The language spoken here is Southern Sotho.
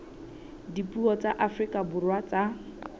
dipuo tsa afrika borwa tsa